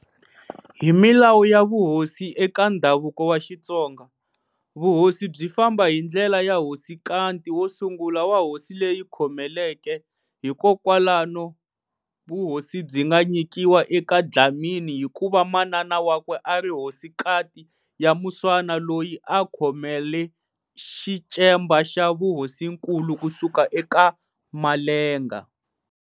Hi milawu ya vuhosi eka ndhavuko wa Xitsonga, vuhosi byi famba hi ndlela ya hosinkati wo sungula wa hosi leyi yi khomeleke-hi kwalano vuhosi byi nga nyikiwa eka Dlhamani hi kuva manana wakwe a ri hosinkati ya Muswana loyi a khomele xicemba xa vuhosinkulu ku suka eka Malenga.